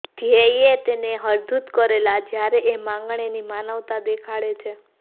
ધ્યેયે તેને હડધૂત કરેલ જ્યારે એ માંગણ એની માનવતા દેખાડે છે